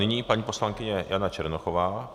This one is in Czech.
Nyní paní poslankyně Jana Černochová.